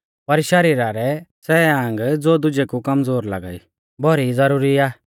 पर शरीरा रै सै आंग ज़ो दुजै कु कमज़ोर लागा ई भौरौ ई ज़रूरी आ